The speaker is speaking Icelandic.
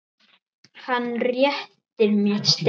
Hann réttir mér stein.